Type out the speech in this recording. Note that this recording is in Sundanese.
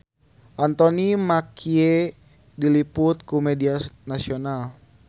Anthony Mackie diliput ku media nasional